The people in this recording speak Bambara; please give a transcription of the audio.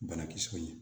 Banakisɛw ye